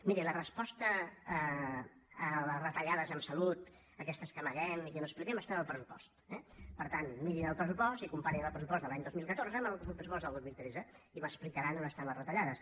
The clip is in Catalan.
miri la resposta a les retallades en salut aquestes que amaguem i que no expliquem estan al pressupost eh per tant mirin el pressupost i comparin el pressupost de l’any dos mil catorze amb el pressupost del dos mil tretze i m’explicaran on estan les retallades